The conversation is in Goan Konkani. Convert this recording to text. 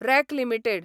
rack limited